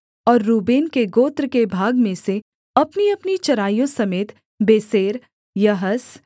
और रूबेन के गोत्र के भाग में से अपनीअपनी चराइयों समेत बेसेर यहस